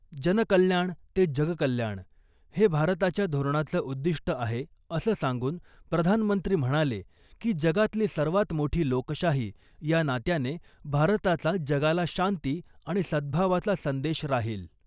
जनकल्याण ते जगकल्याण ' हे भारताच्या धोरणांचं उद्दिष्ट आहे असं सांगून प्रधानमंत्री म्हणाले की जगातली सर्वात मोठी लोकशाही या नात्याने भारताचा जगाला शांती आणि सद्भावाचा संदेश राहील .